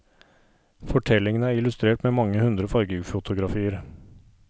Fortellingene er illustrert med mange hundre fargefotografier.